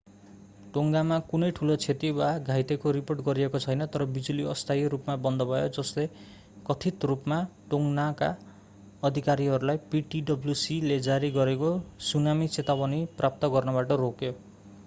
टोङ्गामा कुनै ठूलो क्षति वा घाइतेको रिपोर्ट गरिएको छैन तर बिजुली अस्थायी रूपमा बन्द भयो जसले कथित रूपमा टोङ्गनका अधिकारीहरूलाई ptwc ले जारी गरेको सुनामी चेतावनी प्राप्त गर्नबाट रोक्यो